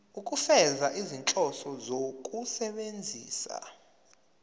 ukufeza izinhloso zokusebenzisa